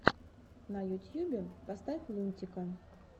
на ютьюбе поставь лунтика